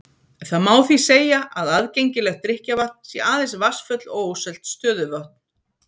Það má því segja að aðgengilegt drykkjarvatn sé aðeins vatnsföll og ósölt stöðuvötn.